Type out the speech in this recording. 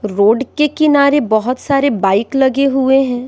Road के किनारे बहुत सारे बाइक लगे हुए हैं।